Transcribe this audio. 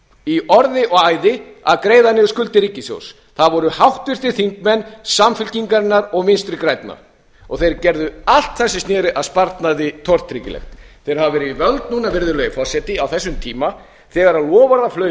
í orði og æði að greiða niður skuldir ríkissjóðs það voru háttvirtir þingmenn samfylkingarinnar og vinstri grænna og þeir gerðu allt það sem sneri að sparnaði tortryggilegt þeir hafa verið við völd núna virðulegi forseti á þessum tíma þegar